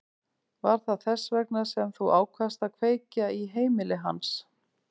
Var það þess vegna sem þú ákvaðst að kveikja í heimili hans?